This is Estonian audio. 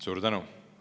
Suur tänu!